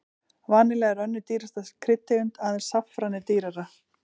Vanilla er önnur dýrasta kryddtegundin, aðeins saffran er dýrara.